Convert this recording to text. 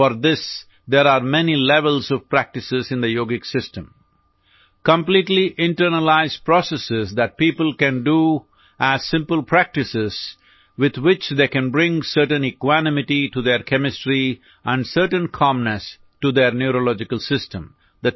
four this there are many levels of practices in the yogic system completely internalize processes that people can do as simple practices with which they can bring certain equanimity to their chemistry and certain calmness to their neurological system